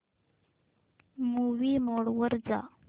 movie mode वर जा